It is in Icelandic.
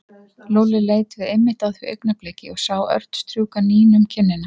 Lúlli leit við einmitt á því augnabliki og sá Örn strjúka Nínu um kinnina.